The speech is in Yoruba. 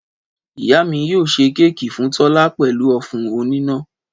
Ìyá mi yio sẹ kẹkí fún tola pẹlú ofun onina